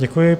Děkuji.